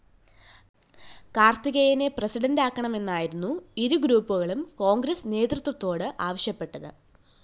കാര്‍ത്തികേയനെ പ്രസിഡന്റാക്കണമെന്നായിരുന്നു ഇരുഗ്രൂപ്പുകളും കോണ്‍ഗ്രസ്‌ നേതൃത്വത്തോട്‌ ആവശ്യപ്പെട്ടത്‌